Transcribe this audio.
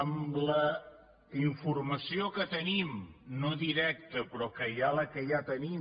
amb la informació que tenim no directa però que hi ha la que ja tenim